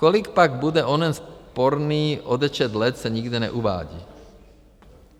Kolik pak bude onen sporný odečet let, se nikde neuvádí.